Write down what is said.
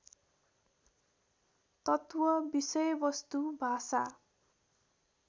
तत्त्व विषयवस्तु भाषा